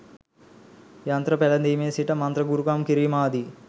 යන්ත්‍ර පැළැදීමේ සිට මන්ත්‍ර ගුරුකම් කිරීම ආදි